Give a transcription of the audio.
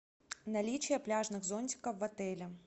наличие пляжных зонтиков в отеле